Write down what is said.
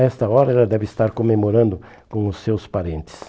A esta hora ela deve estar comemorando com os seus parentes.